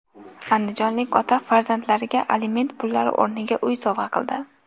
Andijonlik ota farzandlariga aliment pullari o‘rniga uy sovg‘a qildi.